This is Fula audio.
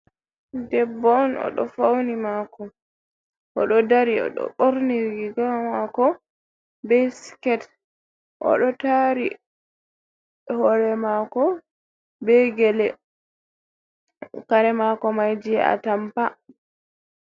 Debbo on o ɗo fauni mako, o ɗo dari, o ɗo ɓorni riga mako be skirt. O ɗo tari hore mako be gele. Kare mako mai je a tampa.